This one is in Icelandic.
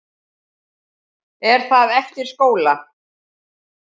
Er það eftir skóla?